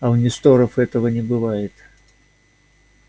а у несторов этого не бывает